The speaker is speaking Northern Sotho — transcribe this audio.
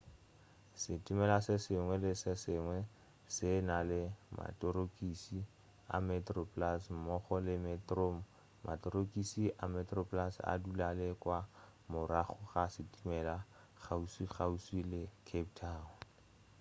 setimela se sengwe le se sengwe se na le materokis a metroplus mmogo le metrom materokisi a metroplus a dula le kua morago ga setimela kgauswikgauswi le cape town